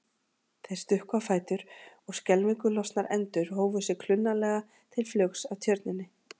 Þeir stukku á fætur og skelfingu lostnar endur hófu sig klunnalega til flugs af tjörninni.